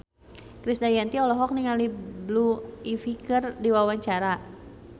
Krisdayanti olohok ningali Blue Ivy keur diwawancara